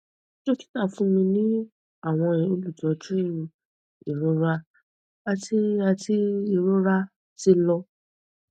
dokita fun mi ni awọn olutọju irora ati ati irora ti lọ